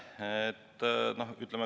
Aitäh!